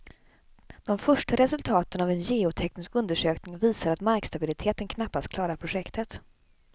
De första resultaten av en geoteknisk undersökning visar att markstabiliteten knappast klarar projektet.